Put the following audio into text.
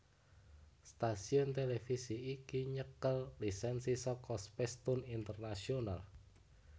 Stasiun televisi iki nyekel lisensi saka Spacetoon International